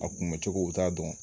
A kunbɛcogo t'a dɔn